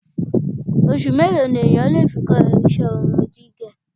Oṣù mélòó ni èèyàn lè fi kọ́ ìṣe irun gígẹ̀?